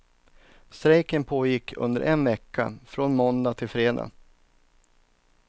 Strejken pågick under en vecka, från måndag till fredag.